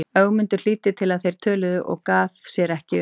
Ögmundur hlýddi til hvað þeir töluðu og gaf sér ekki um.